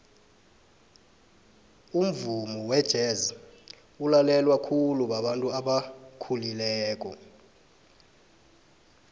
umvumo wejez ulalelwa khulu babantu abakhulileko